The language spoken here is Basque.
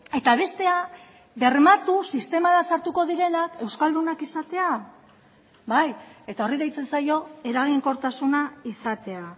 eta bestea bermatu sistemara sartuko direnak euskaldunak izatea bai eta horri deitzen zaio eraginkortasuna izatea